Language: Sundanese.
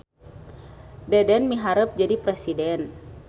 Deden miharep jadi presiden